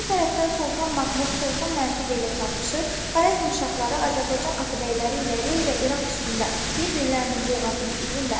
Bir tərəfdən Sultan Mahmud, Sultan Məsud ilə çarpışır, Xarəzm şahları Azərbaycan atabəyləri ilə Rey və İraq üstündə bir-birlərinin boğazını üzürlər.